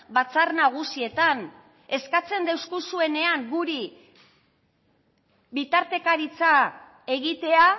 batzar nagusietan eskatzen deuskuzuenean guri bitartekaritza egitea